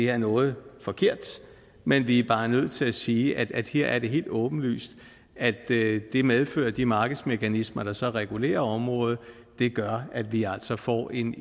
er noget forkert men vi er bare nødt til at sige at her er det helt åbenlyst at det det medfører at de markedsmekanismer der så regulerer området gør at vi altså får en